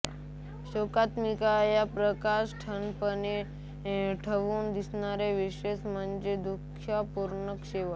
शोकात्मिका या प्रकाराचा ठळकपणे उठून दिसणारा विशेष म्हणजे दुःखपूर्ण शेवट